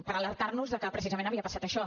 per alertar nos de que precisament havia passat això